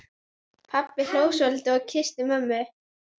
Pabbi hló svolítið og kyssti mömmu.